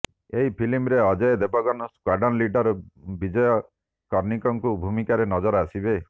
ଏହି ଫିଲ୍ମରେ Ajay Devgn squadron leader Vijay କାର୍ଣ୍ଣିକ୍ଙ୍କ ଭୂମିକାରେ ନଜର ଆସିବେ